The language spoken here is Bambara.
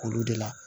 Olu de la